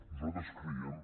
nosaltres creiem